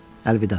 Əlvida.